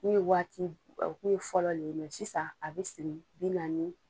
kun ye waati u kun ye fɔlɔ le ye sisan a bɛ siri bi naani.